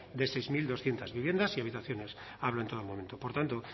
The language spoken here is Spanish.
de seis mil doscientos viviendas y habitaciones hablo en todo momento por tanto